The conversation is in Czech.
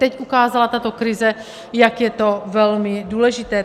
Teď ukázala tato krize, jak je to velmi důležité.